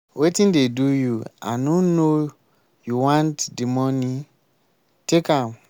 wetin dey do you i no no you want the money take am.